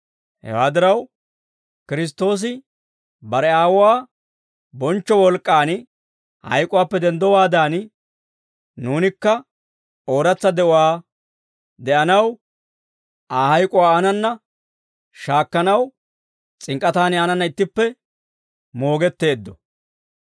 Hewaa diraw, Kiristtoosi bare Aawuwaa bonchcho wolk'k'aan hayk'uwaappe denddowaadan, nuunikka ooratsa de'uwaa de'anaw, Aa hayk'uwaa aanana shaakkanaw s'ink'k'ataani aanana ittippe moogetteeddo.